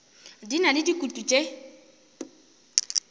di na le dikutu tše